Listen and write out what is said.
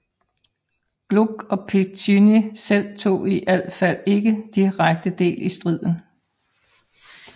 Gluck og Piccinni selv tog i alt fald ikke direkte del i striden